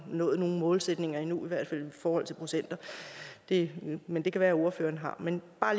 nået nogen målsætning i forhold til procenter endnu men det kan være ordføreren har men bare